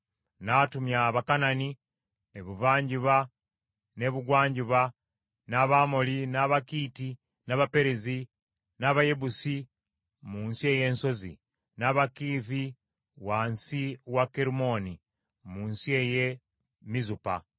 N’atumya Abakanani ebuvanjuba n’ebugwanjuba, n’Abamoli, n’Abakiiti n’Abaperezi, n’Abayebusi mu nsi ey’ensozi, n’Abakiivi wansi wa Kerumooni mu nsi ey’e Mizupa.